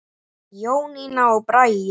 Jónína og Bragi.